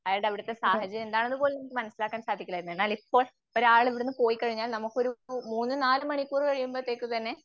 അയാളുടെ അടുത്ത സാഹചര്യം എന്താണെന്ന് പോലും മനസ്സിലാക്കാൻ സാധിക്കില്ലാരുന്നു. എന്നാൽ ഇപ്പോൾ ഒരാള് ഇവിടുന്ന് പോയിക്കഴിഞ്ഞാൽ നമുക്കൊരു മൂന്ന് നാല്‌ മണിക്കൂർ കഴിയുമ്പഴത്തേക്കു തന്നെ